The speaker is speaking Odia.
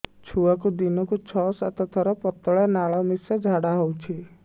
ଛୁଆକୁ ଦିନକୁ ଛଅ ସାତ ଥର ପତଳା ନାଳ ମିଶା ଝାଡ଼ା ହଉଚି